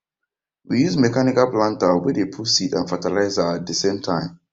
we use mechanical planter wey dey put seed and fertilizer at dey same time